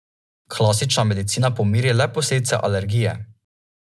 Klasična medicina pomiri le posledice alergije.